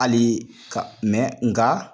Hali ka mɛn nga